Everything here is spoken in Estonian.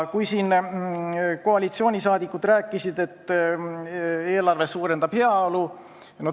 Koalitsioonisaadikud rääkisid siin, et eelarve suurendab heaolu.